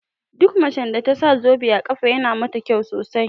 Duk macen da tasa zobe a ƙafa yana mata kyau sosai